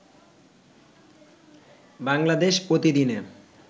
বাংলাদেশ প্রতিদিনে